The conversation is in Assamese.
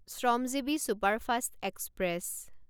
Shramjeevi superfast express